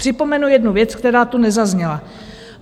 Připomenu jednu věc, která tu nezazněla.